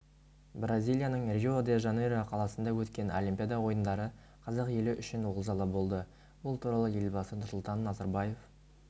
бразилияның рио-де-жанейро қаласында өткен олимпиада ойындары қазақ елі үшін олжалы болды бұл туралы елбасы нұрсұлтан назарбаев